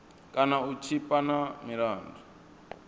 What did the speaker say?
kana u tshipa na milandu